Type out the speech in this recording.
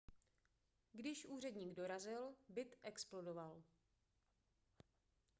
když úředník dorazil byt explodoval